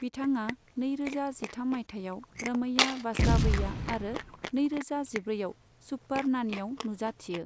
बिथाङा नैरोजा जिथाम मायथाइयाव रमैया वास्तवैया आरो नैरोजा जिब्रैआव सुपर नानिआव नुजाथियो।